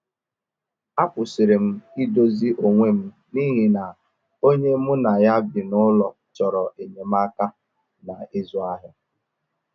A kwụsịrị m idozi onwe m n’ihi na onye mu na ya bi n'ụlọ chọrọ enyemaka na ịzụ ahịa